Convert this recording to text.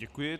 Děkuji.